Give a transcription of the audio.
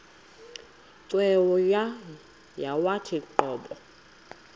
cweya yawathi qobo